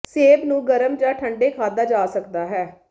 ਸੇਬ ਨੂੰ ਗਰਮ ਜ ਠੰਡੇ ਖਾਧਾ ਜਾ ਸਕਦਾ ਹੈ